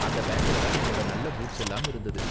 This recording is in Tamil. அந்த பேக்குல தான் என்னோட நல்ல பூட்ஸ் எல்லாம் இருந்தது.